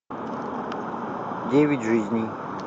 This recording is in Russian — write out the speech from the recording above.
девять жизней